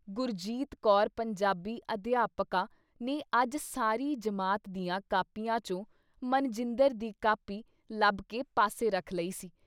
ਗੁਰਜੀਤ ਕੌਰ ਪੰਜਾਬੀ ਅਧਿਆਪਕਾ ਨੇ ਅੱਜ ਸਾਰੀ ਜਮਾਤ ਦੀਆਂ ਕਾਪੀਆਂ ਚੋਂ ਮਨਜਿੰਦਰ ਦੀ ਕਾਪੀ ਲੱਭਕੇ ਪਾਸੇ ਰੱਖ ਲਈ ਸੀ।